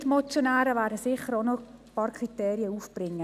Meine Mitmotionäre werden sicher noch ein paar Kriterien einbringen.